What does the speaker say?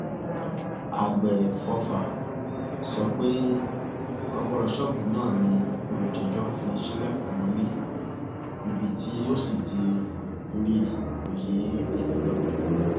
àgbẹfọfà sọ pé kọkọrọ ṣọọbù náà ni olùjẹjọ fi ṣílẹkùn wọlé ibi tó sì ti rí i kó yé enìkan